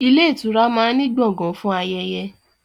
Ilé ìtura máa ń ní Gbọ̀ngán fún ayẹyẹ